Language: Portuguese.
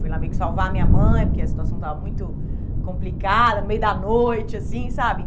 Fui lá meio que salvar a minha mãe, porque a situação estava muito complicada, no meio da noite, assim, sabe?